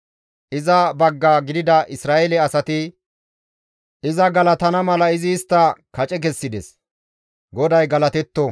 Iza bagga gidida Isra7eele asati iza galatana mala izi istta kace kessides. GODAY galatetto!